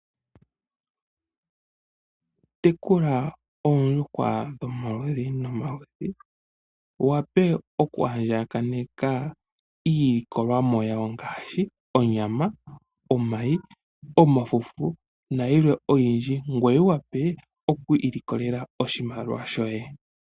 Tekula oondjuhwa dhomaludhi nomaludhi wu wa pe okwaandjakaneka iilikolomwa yawo ngaashi onyama, omayi, omafufu nayilwe oyindji, ngoye wu wa pe oku ilikolela oshimaliwa shoye.